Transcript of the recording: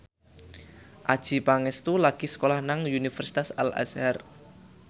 Adjie Pangestu lagi sekolah nang Universitas Al Azhar